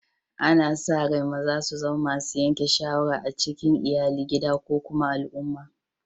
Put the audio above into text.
Ana sa rai maza su zama masun yanke shawarar a cikin Iyalli, gida ko kuma al'umma.